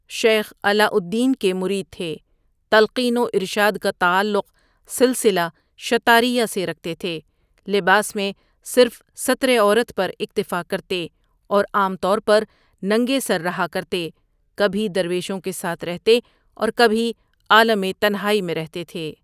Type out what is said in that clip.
شیخ علاؤادلدین کے مرید تھے تلقین و ارشاد کا تعلق سلسلہ شطاریہ سے رکھتے تھے لباس میں صرف ستر عورت پر اکتفا کرتے اور عام طور پر ننگے سر رہا کرتے کبھی درویشوں کے ساتھ رہتے اور کبھی عالم تنہاٗئی میں رہتے تھے۔